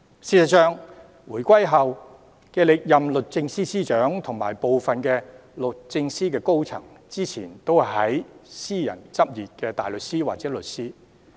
事實上，回歸後歷任的律政司司長和部分律政司高層，之前都是私人執業的大律師或律師。